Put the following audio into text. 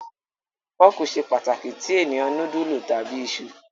Fọ́ọ́kì ṣe pàtàkì tí ènìyàn núdúlù tàbí iṣu.